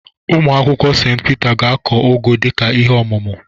Ụmụakwụkwọ St Peter ga-akụ ụgụ dịka ihe omume.